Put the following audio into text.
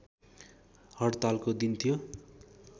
हड्तालको दिन थियो